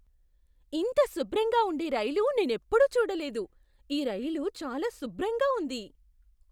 ఇంత శుభ్రంగా ఉండే రైలు నేనెప్పుడూ చూడలేదు! ఈ రైలు చాలా శుభ్రంగా ఉంది!